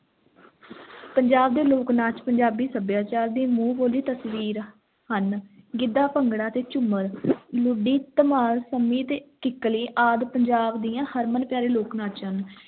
ਪੰਜਾਬ ਦੇ ਲੋਕ-ਨਾਚ ਪੰਜਾਬੀ ਸੱਭਿਆਚਾਰ ਦੀ ਮੂੰਹ ਬੋਲੀ ਤਸਵੀਰ ਹਨ, ਗਿੱਧਾ, ਭੰਗੜਾ ਤੇ ਝੂੰਮਰ ਲੁੱਡੀ, ਧਮਾਲ, ਸੰਮੀ ਅਤੇ ਕਿੱਕਲੀ ਆਦਿ ਪੰਜਾਬ ਦੀਆਂ ਹਰਮਨ-ਪਿਆਰੇ ਲੋਕ-ਨਾਚ ਹਨ।